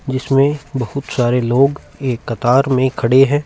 जिसमे बहोत सारे लोग एक कतार में खड़े है।